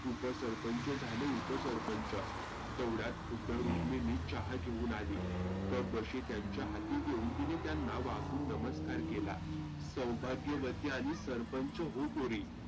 उप सरपंच झाली उप सरपंच. तेव्हड्यात खुद्द रुखमिनी चहा घेऊन आली. कप बशी हातात देऊन तीनं त्यांना वाकुन नमस्कार केला. सौभाग्यवती आणि सरपंच हो पोरी.